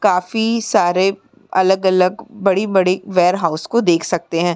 काफी सारे अलग-अलग बड़ी-बड़ी वेयरहाउस को देख सकते हैं।